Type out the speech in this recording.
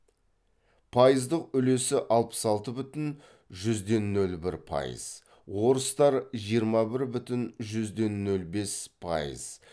пайыздық үлесі алпыс алты бүтін жүзден нөл бір пайыз орыстар жиырма бір бүтін жүзден нөл бес пайыз